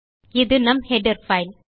இது நம் header file